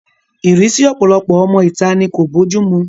Ìrísí ọ̀pọ̀lọpọ̀ ọmọ ìta ni kò bójú mu